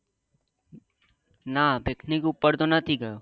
ના picnic ઉપર તો નથી ગયો